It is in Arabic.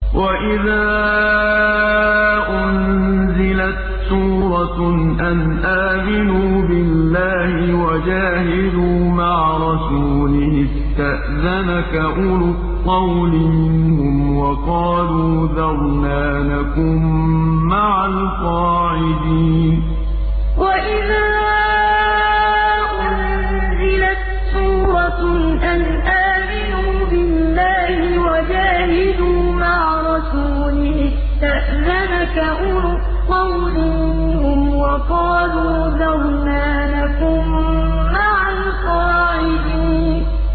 وَإِذَا أُنزِلَتْ سُورَةٌ أَنْ آمِنُوا بِاللَّهِ وَجَاهِدُوا مَعَ رَسُولِهِ اسْتَأْذَنَكَ أُولُو الطَّوْلِ مِنْهُمْ وَقَالُوا ذَرْنَا نَكُن مَّعَ الْقَاعِدِينَ وَإِذَا أُنزِلَتْ سُورَةٌ أَنْ آمِنُوا بِاللَّهِ وَجَاهِدُوا مَعَ رَسُولِهِ اسْتَأْذَنَكَ أُولُو الطَّوْلِ مِنْهُمْ وَقَالُوا ذَرْنَا نَكُن مَّعَ الْقَاعِدِينَ